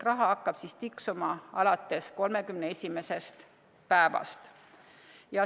Raha hakkab tiksuma alates 31. päevast.